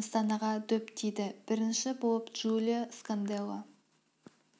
нысанаға дөп тиді бірінші болып джулио сканделло